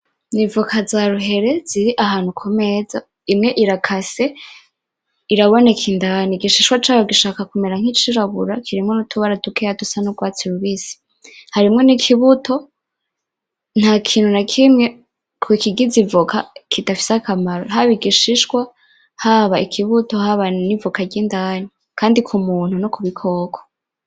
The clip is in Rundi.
Nivoka za ruhere ziri ahantu kumeza imwe irakase iraboneka indani igishishwa cayo kigomba kumera nkicirabura kirimwo nutubara dukeya dusa nugwatsi rubisi harimwo nikibuto ntakintu nakimwe kukigize ivoka kidafise akamaro haba igishishwa haba ikibuto haba nivoka ryindani kandi kumuntu no kubikoko